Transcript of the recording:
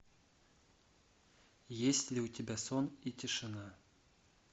есть ли у тебя сон и тишина